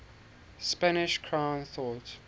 spanish crown thought